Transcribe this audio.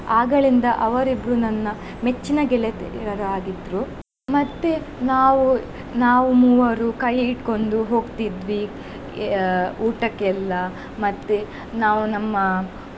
ಆಗಳಿಂದ ಅವರಿಬ್ಬರೂ ನನ್ನ ಮೆಚ್ಚಿನ ಗೆಳತಿಯರು ಆಗಿದ್ರು. ಮತ್ತೆ ನಾವು ನಾವ್ ಮೂವರು ಕೈ ಹಿಡ್ಕೊಂಡು ಹೋಗ್ತೀದ್ವಿ ಆ ಊಟಕ್ಕೆ ಎಲ್ಲಾ ಮತ್ತೆ ನಾವು ನಮ್ಮ.